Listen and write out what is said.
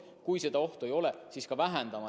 Kui seda ohtu ei ole, siis võib oma jõude vähendada.